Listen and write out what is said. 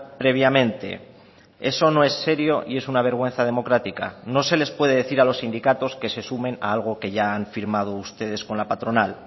previamente eso no es serio y es una vergüenza democrática no se les puede decir a los sindicatos que se sumen a algo que ya han firmado ustedes con la patronal